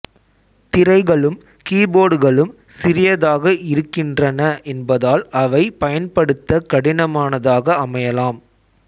திரைகளும் கீபோர்டுகளும் சிறியதாக இருக்கின்றன என்பதால் அவை பயன்படுத்த கடினமானதாக அமையலாம்